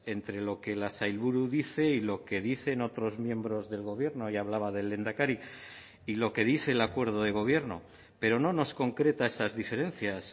entre lo que la sailburu dice y lo que dicen otros miembros del gobierno y hablaba del lehendakari y lo que dice el acuerdo de gobierno pero no nos concreta esas diferencias